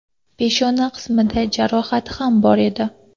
Peshona qismida jarohati ham bor edi.